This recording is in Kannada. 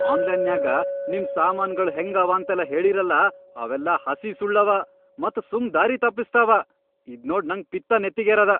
ಆನ್ಲೈನ್ಯಾಗ ನಿಮ್ ಸಾಮಾನ್ಗಳ್ ಹೆಂಗ ಅವಾಂತೆಲ್ಲಾ ಹೇಳೀರಲಾ ಅವೆಲ್ಲಾ ಹಸಿ ಸುಳ್ಳವ ಮತ್ ಸುಮ್ ದಾರಿ ತಪ್ಪಸ್ತಾವ, ಇದ್ನೋಡ್ ನನ್ ಪಿತ್ ನೆತ್ತಿಗೆರೇದ.